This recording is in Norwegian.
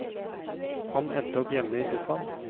Han endte opp hjemme i sofaen.